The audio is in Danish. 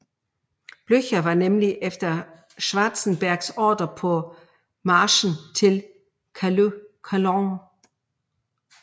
Blücher var nemlig efter Schwarzenbergs ordre på marchen til Châlons